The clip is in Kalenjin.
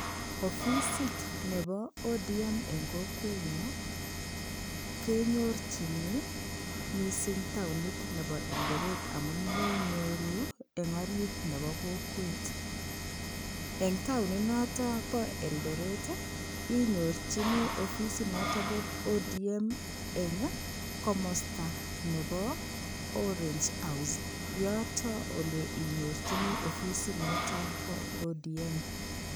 Ofisit nebo ODM eng kowenyo kenyorchini mising taonit nebo Eldoret amun menyoru en orit nebo kokwet, eng taoni noto bo Eldoret ii, inyorchini ofisi noto bo ODM eng ii, komosta nebo orange house, yoto oleinyorchini ofisinoto bo ODM.